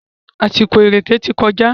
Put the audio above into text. Àsìkò ìrèkè ti kọjá.